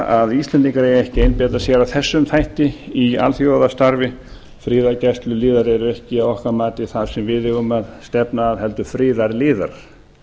að íslendingar eigi ekki að einbeita sér að leitum þætti í alþjóðastarfi friðargæsluliðar eru ekki að okkar mati það sem við eigum að stefna að heldur friðarliðar